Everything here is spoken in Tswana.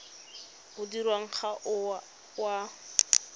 o dirwang ga o a